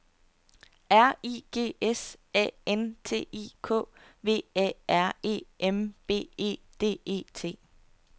R I G S A N T I K V A R E M B E D E T